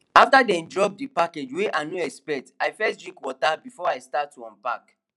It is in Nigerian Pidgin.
after dem drop the package wey i no expect i first drink water before i start to unpack